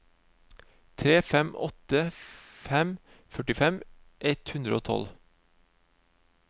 tre fem åtte fem førtifem ett hundre og tolv